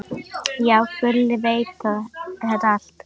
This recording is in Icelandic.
Já, Gulli veit þetta allt.